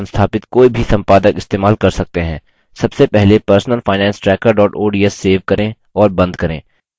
सबसे पहले personalfinancetracker ods save करें और बंद करें